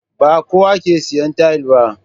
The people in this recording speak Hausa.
Ba kowa ke siya taile ba